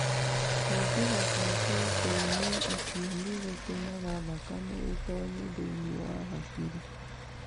Kũingĩha kwa proteini icio nĩ gũtũmaga thakame ĩtoonye thĩinĩ wa hakiri.